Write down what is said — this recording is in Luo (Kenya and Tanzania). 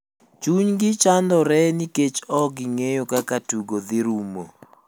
Chuny gi chandore nikech ok gingeyo kaka tugo dhi ruomo.